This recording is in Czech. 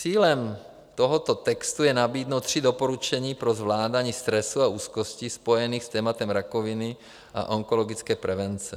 Cílem tohoto textu je nabídnout tři doporučení pro zvládání stresu a úzkosti spojených s tématem rakoviny a onkologické prevence.